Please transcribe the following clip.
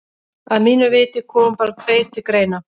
Að mínu viti koma bara tveir til greina.